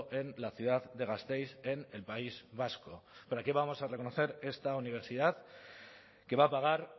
en la ciudad de gasteiz en el país vasco para qué vamos a reconocer esta universidad que va a pagar